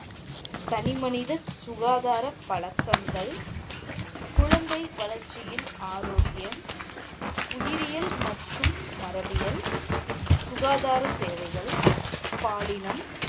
தனி மனித சுகாதாரப் பழக்கங்கள், குழந்தை வளரச்சியில் ஆரோக்கியம், உயிரியல் மற்றும் மரபியல் சுகாதார சேவைகள், பாலினம்